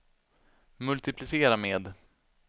multiplicera med